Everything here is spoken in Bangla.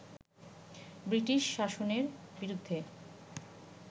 ব্রিটিশ শাসনের বিরুদ্ধে